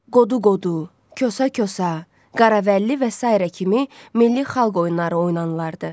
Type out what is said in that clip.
Qodu-qodu, kösə-kösə, Qaravəlli və sairə kimi milli xalq oyunları oynanılırdı.